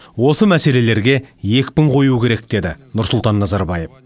осы мәселелерге екпін қою керек деді нұрсұлтан назарбаев